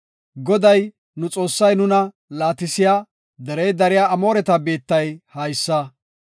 Goday nu Xoossay nuna laatisiya, derey dariya Amooreta biittay haysa.